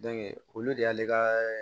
olu de y'ale ka